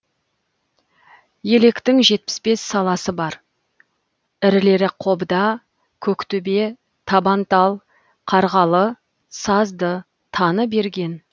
електің жетпіс бес саласы бар ірілері қобда көктөбе табантал қарғалы сазды таныберген